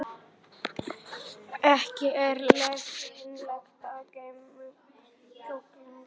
Ekki er leyfilegt að geyma duftkerið á öðrum stað en í löggiltum kirkjugarði.